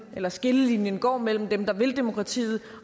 men at skillelinjen går mellem dem der vil demokratiet